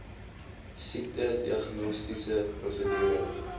siekte diagnostiese prosedure